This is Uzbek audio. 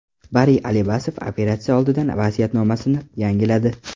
Bari Alibasov operatsiya oldidan vasiyatnomasini yangiladi.